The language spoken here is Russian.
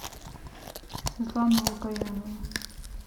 светлана лукоянова